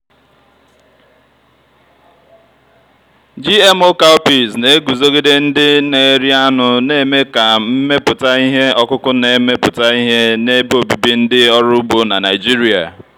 gmo cowpeas na-eguzogide ndị na-eri anụ na-eme ka mmepụta ihe ọkụkụ na-emepụta ihe na ebe obibi ndị ọrụ ugbo na nigeria.